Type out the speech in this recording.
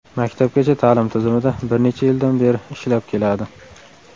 Maktabgacha ta’lim tizimida bir necha yildan beri ishlab keladi.